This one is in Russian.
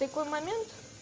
такой момент